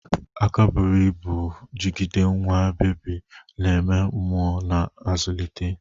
Aka buru ibu jigide nwa bebi, na-eme mmuo na-azụlite.